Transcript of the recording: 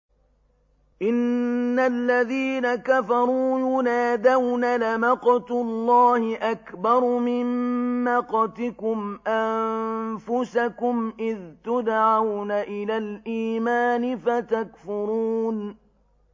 إِنَّ الَّذِينَ كَفَرُوا يُنَادَوْنَ لَمَقْتُ اللَّهِ أَكْبَرُ مِن مَّقْتِكُمْ أَنفُسَكُمْ إِذْ تُدْعَوْنَ إِلَى الْإِيمَانِ فَتَكْفُرُونَ